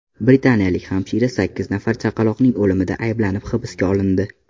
Britaniyalik hamshira sakkiz nafar chaqaloqning o‘limida ayblanib hibsga olindi.